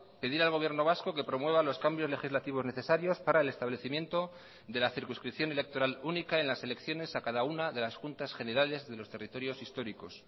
pedir al gobierno vasco que promueva los cambios legislativos necesarios para el establecimiento de la circunscripción electoral única en las elecciones a cada una de las juntas generales de los territorios históricos